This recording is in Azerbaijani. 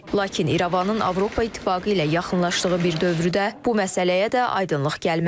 Lakin İrəvanın Avropa İttifaqı ilə yaxınlaşdığı bir dövrdə bu məsələyə də aydınlıq gəlməlidir.